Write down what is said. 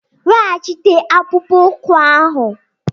Weghachite akpụkpọ ụkwụ ahụ!